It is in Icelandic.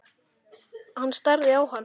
Hann starði á hann.